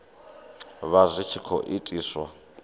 vha zwi tshi khou itiswa